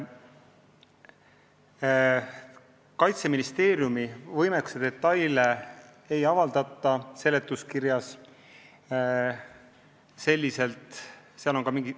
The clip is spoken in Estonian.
Kaitseministeeriumi detailset võimekust seletuskirjas ei kajastata.